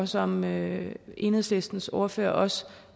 som enhedslistens ordfører også